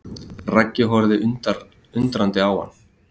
Raggi horfir undrandi á hann.